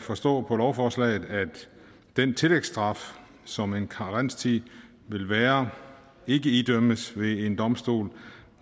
forstå på lovforslaget at den tillægsstraf som en karenstid vil være ikke idømmes ved en domstol